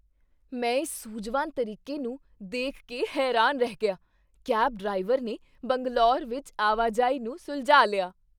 ਮੈਂ ਇਸ ਸੂਝਵਾਨ ਤਰੀਕੇ ਨੂੰ ਦੇਖ ਕੇ ਹੈਰਾਨ ਰਹਿ ਗਿਆ, ਕੈਬ ਡਰਾਈਵਰ ਨੇ ਬੰਗਲੌਰ ਵਿੱਚ ਆਵਾਜਾਈ ਨੂੰ ਸੁਲਝਾ ਲਿਆ।